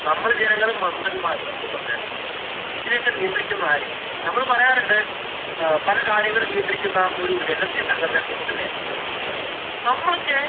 നമ്മള് ജനങ്ങള് മണ്ടന്മാര് സത്യം പറഞ്ഞാല്. ഇതിനെയൊക്കെ നിയന്ത്രിക്കുന്നതാര്? നമ്മള് പറയാറുണ്ട് എഹ് പലകാര്യങ്ങള്‍ നിയന്ത്രിക്കുന്ന ഒരു രഹസ്യ സംഘടനേ പറ്റീട്ട് അല്ലേ? നമ്മള്‍ക്ക്